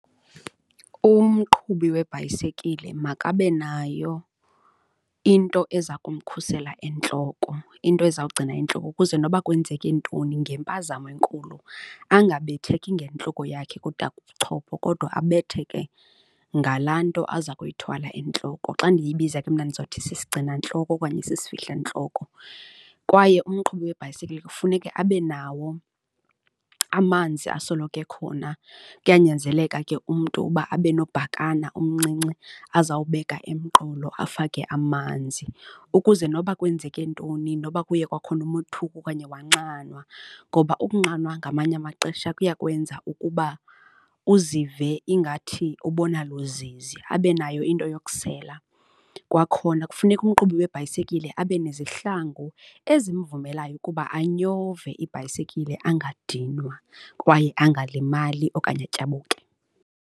Umqhubi webhayisikile makabe nayo into eza kumkhusela entloko, into ezawugcina intloko ukuze noba kwenzeke ntoni ngempazamo enkulu angabetheki ngentloko yakhe kutake ubuchopho kodwa abetheke ngalaa nto aza kuyithwala entloko. Xa ndiyibiza ke mna ndizothi sisigcinantloko okanye sisifihlo intloko. Kwaye umqhubi webhayisikile kufuneke abe nawo amanzi asoloko ekhona, kuyanyanzeleka ke umntu uba abe nobhakana omncinci ezawubeka emqolo afake amanzi, ukuze noba kwenzeke ntoni noba kuye kwakhona nomothuko okanye wanxanwa ngoba ukunxanwa ngamanye amaxesha kuya kwenza ukuba uzive ingathi ubona luzizi, abe nayo into yokusela. Kwakhona kufuneka umqhubi webhayisikile abe nezihlangu ezimvumelayo ukuba anyove ibhayisikile angadinwa kwaye angalimali okanye atyabuke.